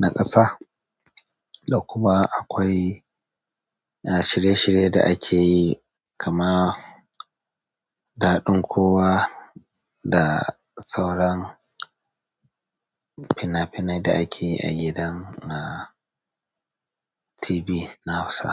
na ƙasa. Da kuma akwai, eh, shirye-shirye da akeyi, kama daɗin kowa da sauran fina-finai da akeyi a gidan, ah, TV na Hausa.